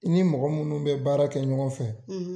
I ni mɔgɔ munnu bɛ baara kɛ ɲɔgɔn fɛ